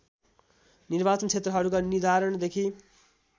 निर्वाचन क्षेत्रहरूका निर्धारणदेखि